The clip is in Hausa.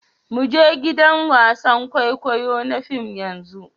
Mu je gidan wasan kwaikwayo na fim yanzu.